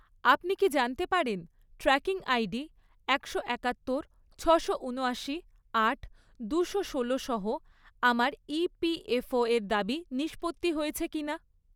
আপনি কি জানতে পারেন ট্র্যাকিং আইডি একশো একাত্তর, ছশো উনআশি, আট, দুশো ষোলোসহ আমার ইপিএফও এর দাবি নিষ্পত্তি হয়েছে কিনা?